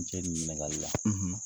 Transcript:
N cɛ nin ɲininkali la